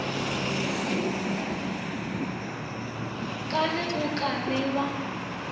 ka ge go ka bewa